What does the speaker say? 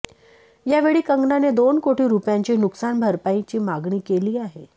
यावेळी कंगनाने दोन कोटी रुपयांची नुकसान भरपाईची मागणी केली आहे